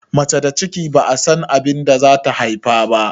Mace da ciki ba'a san abinda zata haife ba.